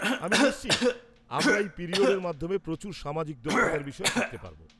-আমি নিশ্চিত আমরা এই পিরিয়ডের মাধ্যমে প্রচুর সামাজিক দক্ষতার বিষয়ে শিখতে পারব।